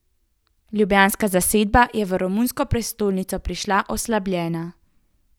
Ljubljanska zasedba je v romunsko prestolnico prišla oslabljena.